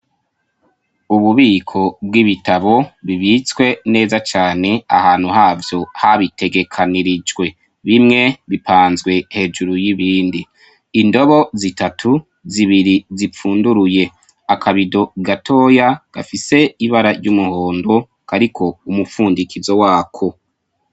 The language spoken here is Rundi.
Ububiko bw'ibitabo bibitswe neza cane ahantu havyo habitegekanirijwe. Bimwe bipanzwe hejuru y'ibindi. Indobo zitatu, zibiri zipfumduruye. Akabido gatoyabgafise ibara ry'umuhondo gafise umupfundikizo wako.